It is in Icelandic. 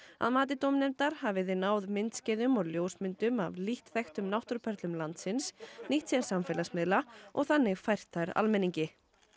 að mati dómnefndar hafa þeir náð myndskeiðum og ljósmyndum af lítt þekktum náttúruperlum landsins nýtt sér samfélagsmiðla og þannig fært þær almenningi